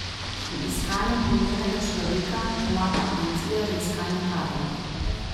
Pri iskanju primernega človeka pomaga agencija za iskanje kadrov.